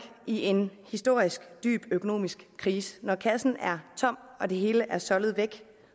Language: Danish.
i en historisk dyb økonomisk krise når kassen er tom og det hele er soldet væk